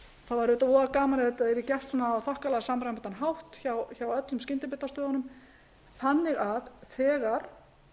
verður þetta voðagaman ef þetta yrði gert á þokkalega samræmdan hátt hjá öllum skyndibitastöðunum þannig að þegar